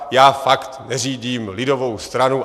Já fakt neřídím lidovou stranu.